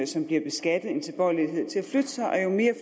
som bliver beskattet en tilbøjelighed til at flytte sig og jo mere